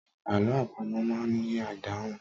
Àlọ́ àpamọ̀ máa ń ní ìdáhùn.